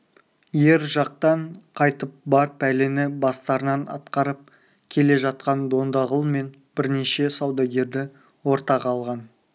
ар жақтан қайтып бар пәлені бастарынан атқарып келе жатқан дондағұл мен бірнеше саудагерді ортаға алған